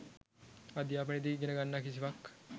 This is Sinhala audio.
අධ්‍යාපනයේ දී ඉගෙන ගන්නා කිසිවක්